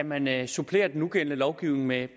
man kan supplere den nugældende lovgivning med